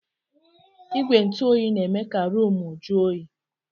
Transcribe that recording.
Igwe ntụ oyi na-eme ka ruumu ju oyi.